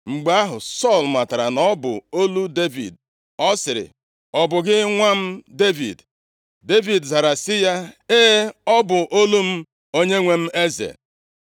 Mgbe ahụ, Sọl matara na ọ bụ olu Devid, ọ sịrị, “Ọ bụ gị nwa m, Devid?” Devid zara sị ya, “E, ọ bụ olu m, onyenwe m, eze.”